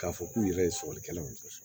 K'a fɔ k'u yɛrɛ ye sɔgɔlikɛlaw sɔrɔ